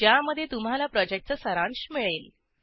ज्यामध्ये तुम्हाला प्रॉजेक्टचा सारांश मिळेल